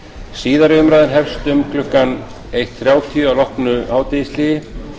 síðari umræðan hefst um klukkan eitt þrjátíu að loknu hádegishléi